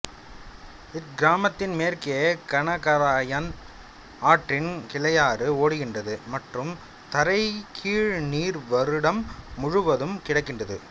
இக்கிராமத்தின்மே ற்கே கனகராயன் ஆற்றின் கிளையாறு ஓடுகின்றது மற்றும் தரைக்கீழ் நீர் வருடம் முழுவதும் கிடைக்கின்றது